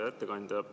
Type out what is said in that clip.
Hea ettekandja!